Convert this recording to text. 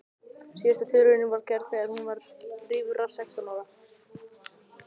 Síðasta tilraunin var gerð þegar hún var rífra sextán ára.